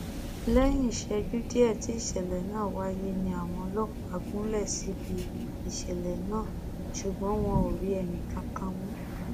lẹyìn ìṣẹjú díẹ tí ìṣẹlẹ náà wáyé ni àwọn ọlọpàá gúnlẹ síbi ìṣẹlẹ náà ṣùgbọn wọn ò rí ẹnìkankan mú